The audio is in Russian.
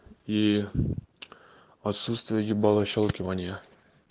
и отсутствие ебалошелкивание